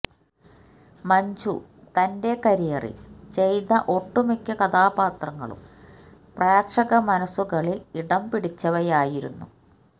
മഞ്ജു തന്റെ കരിയറില് ചെയ്ത ഒട്ടുമിക്ക കഥാപാത്രങ്ങളും പ്രേക്ഷക മനസുകളില് ഇടം പിടിച്ചവയായിരുന്നു